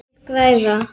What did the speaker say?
Þeir græða.